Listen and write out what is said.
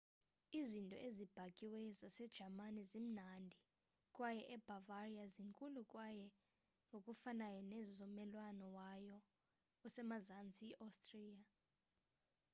izinto ezibhakiweyo zasejamani zimnandi kwaye ebavaria zinkulu kwaye ngokufanayo nezo zommelwane wayo osemazantsi i-ostriya